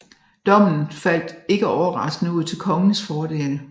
Dommen faldt ikke overraskende ud til kongens fordel